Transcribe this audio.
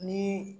Ni